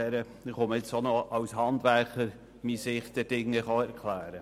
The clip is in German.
Ich erkläre jetzt auch noch meine Sicht als Handwerker.